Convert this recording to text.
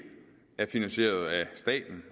er finansieret af staten